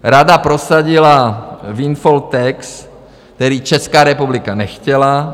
Rada prosadila windfall tax, který Česká republika nechtěla.